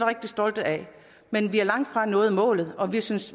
rigtig stolte af men vi har langtfra nået målet og vi synes